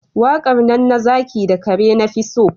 Waƙar nan na zaki da kare na fi so